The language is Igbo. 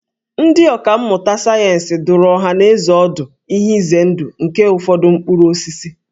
Ndị ọkà mmụta sayensị dụrụ ọhanaeze ọdụ ihe ize ndụ nke ụfọdụ mkpụrụ osisi